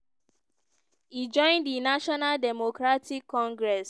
e join di national democratic congress (ndc).